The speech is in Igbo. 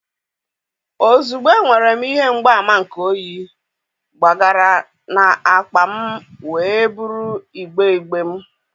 ozugbo enwere m ihe mgbaàmà nke oyi, gbagara na akpa m wee buru igbe igbe m.